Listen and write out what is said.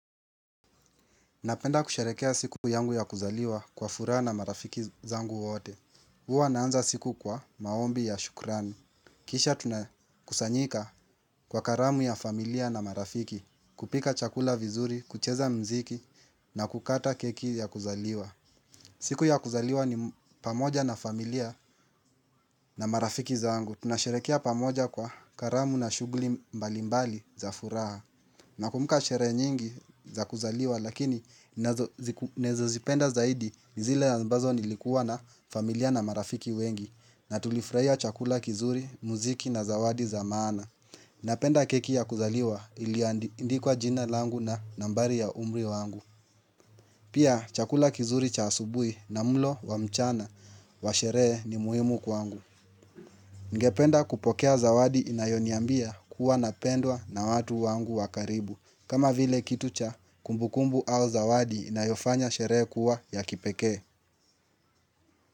Napenda kusherehekea siku yangu ya kuzaliwa kwa furaha na marafiki zangu wote. Uwa naanza siku kwa maombi ya shukrani. Kisha tunakusanyika kwa karamu ya familia na marafiki, kupika chakula vizuri, kucheza mziki, na kukata keki ya kuzaliwa. Siku ya kuzaliwa ni pamoja na familia na marafiki zangu. Tunasherekea pamoja kwa karamu na shuguli mbalimbali za fura. Na kumbuka sherehe nyingi za kuzaliwa lakini ninazo zipenda zaidi ni zile ambazo nilikuwa na familia na marafiki wengi na tulifraia chakula kizuri, muziki na zawadi za maana Napenda keki ya kuzaliwa iliandikwa jina langu na nambari ya umri wangu Pia chakula kizuri cha asubui na mulo wa mchana wa sherehe ni muhimu kwangu Ningependa kupokea zawadi inayoniambia kuwa napendwa na watu wangu wa karibu kama vile kitu cha, kumbukumbu au zawadi na inayofanya sherehe kuwa ya kipekee.